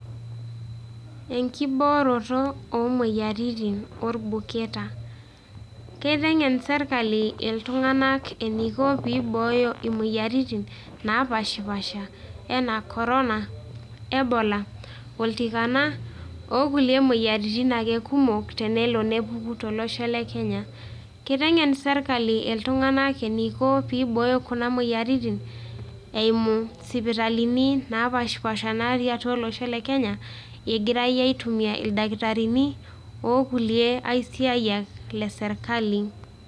Enkibooroto oo moyiaritin orbuketa. Keiteng'en serkali iltung'anak eniko pee ibooyo imoyiaritin naapaashipaasha enaa corona, ebola oltikana, o kulie moyiaritin ake kumok tenelo nepuku tolosho le Kenya. Kiteng'en serkali iltung'anak eniko piibooyo kuna moyiaritin, eimu isipitalini naapaashipaasha naatii atua olosho le Kenya, egirai aitumia ildakitarini o kulie aisiayiak le serkali.